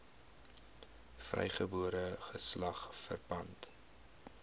vrygebore geslag verpand